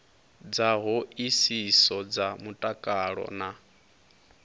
dza hoisiso dza mutakalo na